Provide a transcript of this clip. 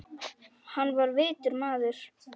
Hann var vitur maður.